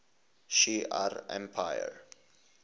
shi ar empire